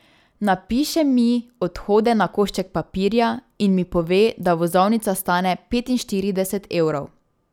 Napiše mi odhode na košček papirja in mi pove, da vozovnica stane petinštirideset evrov.